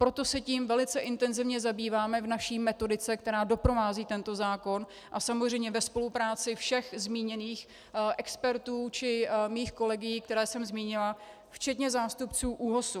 Proto se tím velice intenzivně zabýváme v naší metodice, která doprovází tento zákon, a samozřejmě ve spolupráci všech zmíněných expertů či mých kolegů, které jsem zmínila, včetně zástupců ÚOHS.